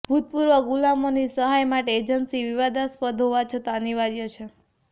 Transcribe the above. ભૂતપૂર્વ ગુલામોની સહાય માટે એજન્સી વિવાદાસ્પદ હોવા છતાં અનિવાર્ય છે